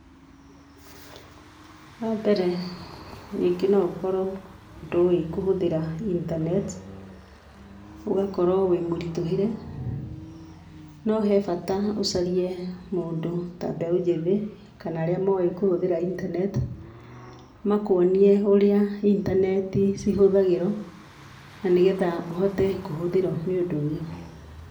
Wambere rĩngĩ no ũkorwo ndũĩ kũhũthĩra intaneti, ũgakorwo wĩ mũritũhĩre, no hebata ũcarie mũndũ ta mbeũ njĩthĩ kana arĩa moĩ kũhũthĩra intaneti, makuonie ũrĩa intaneti cihũthagĩrwo na nĩgetha ũhote kũhũthĩrwo nĩ ũndũ ũyũ.